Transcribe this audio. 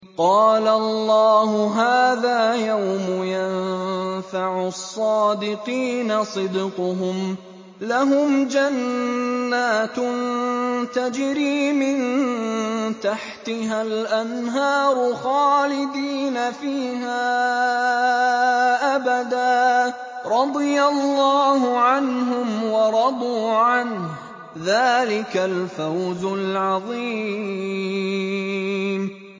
قَالَ اللَّهُ هَٰذَا يَوْمُ يَنفَعُ الصَّادِقِينَ صِدْقُهُمْ ۚ لَهُمْ جَنَّاتٌ تَجْرِي مِن تَحْتِهَا الْأَنْهَارُ خَالِدِينَ فِيهَا أَبَدًا ۚ رَّضِيَ اللَّهُ عَنْهُمْ وَرَضُوا عَنْهُ ۚ ذَٰلِكَ الْفَوْزُ الْعَظِيمُ